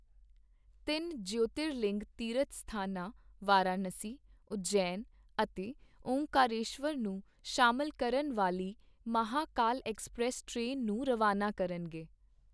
ਤਿੰਨ ਜਯੋਤਿਰ ਲਿੰਗ ਤੀਰਥ ਸਥਾਨਾਂ - ਵਾਰਾਣਸੀ, ਉਜੈਨ ਅਤੇ ਓਅੰਕਾਰੇਸ਼ਵਰ ਨੂੰ ਸ਼ਾਮਿਲ ਕਰਨ ਵਾਲੀ ਮਹਾਕਾਲ ਐਕਸਪ੍ਰੈੱਸ ਟ੍ਰੇਨ ਨੂੰ ਰਵਾਨਾ ਕਰਨਗੇ